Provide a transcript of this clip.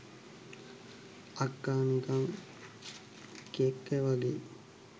අක්ක නිකං කෙක්ක වගෙයි